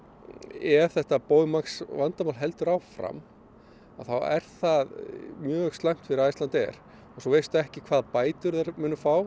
ef þetta Boeing Max vandamál heldur áfram að þá er það mjög slæmt fyrir Icelandair þú veist ekki hvaða bætur þeir munu fá